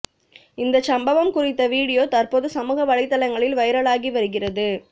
இந்தச் சம்பவம் குறித்த வீடியோ தற்போது சமூக வலைதளங்களில் வைரலாகி வருகிறது